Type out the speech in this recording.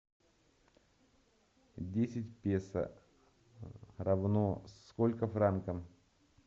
десять песо равно сколько франкам